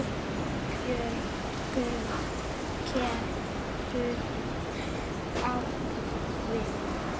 Björn getur átt við